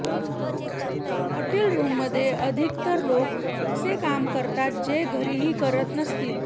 hotel रुममध्ये अधिकतर लोक असे काम करतात जे घरीही करत नसतील